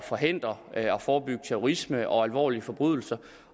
forhindre og forebygge terrorisme og alvorlige forbrydelser